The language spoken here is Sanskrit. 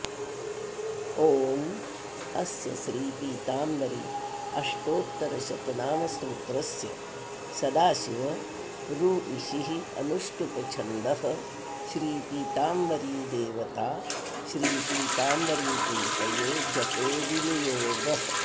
ॐ अस्य श्रीपीताम्बर्यष्टोत्तरशतनामस्तोत्रस्य सदाशिव ऋइषिरनुष्टुष्छन्दश्श्रीपीताम्बरी देवता श्रीपीताम्बरीप्रीतये जपे विनियोगः